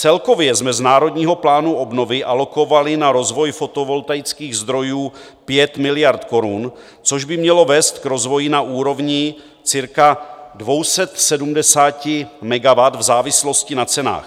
Celkově jsme z Národního plánu obnovy alokovali na rozvoj fotovoltaických zdrojů 5 miliard korun, což by mělo vést k rozvoji na úrovni cirka 270 megawatt v závislosti na cenách.